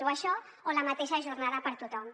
o això o la mateixa jornada per a tothom